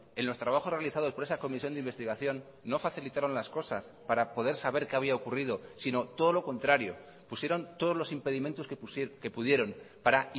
en los trabajos realizados por esa comisión de investigación no facilitaron las cosas para poder saber qué había ocurrido sino todo lo contrario pusieron todos los impedimentos que pudieron para